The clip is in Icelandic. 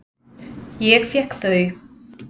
Ég fékk þau.